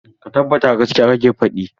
Ka tabbata gaskiya kake faɗi?